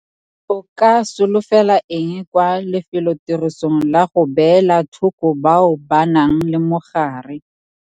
O ka solofela eng kwa lefelotirisong la go beela thoko bao ba nang le mogare?